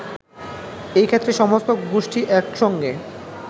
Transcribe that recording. এ ক্ষেত্রে সমস্ত গোষ্ঠী একসঙ্গে